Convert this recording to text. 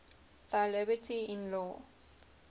thy liberty in law